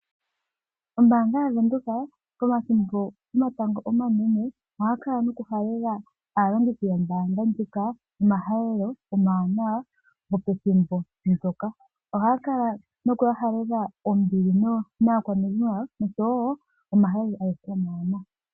Ombaanga yaVenduka pomathimbo gomatango omanene ohaya kala nokuhalela aalongithi yombaanga ndjika omahalelo omawanawa gopethimbo ndyoka. Ohaya kala nokuya halelela ombili naakwanezimo yawo osho wo omahalelo omawanawa.